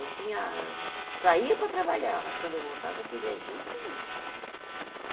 Eu tinha, saía para trabalhar, mas quando eu voltava eu queria junto comigo.